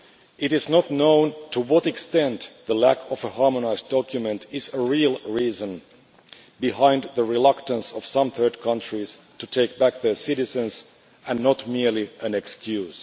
It is not known to what extent the lack of a harmonised document is a real reason behind the reluctance of some third countries to take back their citizens, rather than merely an excuse.